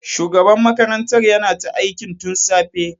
Shugaban makarantar yana ta aiki tun safe.